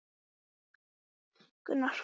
Þú ert bara eins og prinsessan á bauninni!